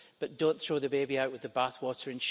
But don't throw the baby out with the bathwater.